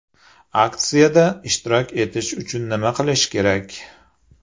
Aksiyada ishtirok etish uchun nima qilish kerak?